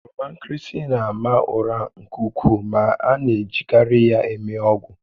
Oroma nkịrịsị na-ama ụra nke ukwuu ma a na-ejikarị ya eme ọgwụ